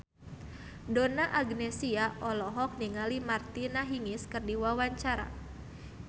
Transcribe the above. Donna Agnesia olohok ningali Martina Hingis keur diwawancara